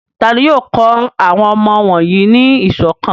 Ta ni yóò kọ́ àwọn ọmọ wọ̀nyí ní ìṣọ̀kan?